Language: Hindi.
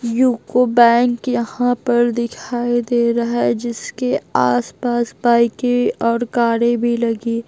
यूको बैंक यहां पर दिखाई दे रहा है जिसके आसपास बाइकें और कारें भी लगी --